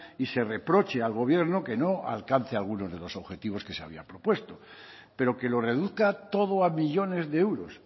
y se reproche al gobierno que no alcance algunos de los objetivos que se había propuesto pero que lo reduzca todo a millónes de euros